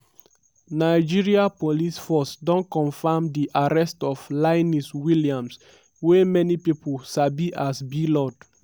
nigeria police force don confam di arrest of linus williams wey many pipo sabi as blord.